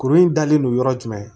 Kurun in dalen no yɔrɔ jumɛn